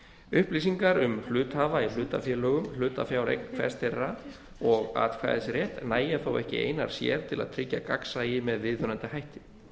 upplýsingar um hluthafa í hlutafélögum hlutafjáreign hvers þeirra og atkvæðisrétt nægja þó ekki einar sér til að tryggja gagnsæi með viðunandi hætti